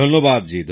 ধন্যবাদ জি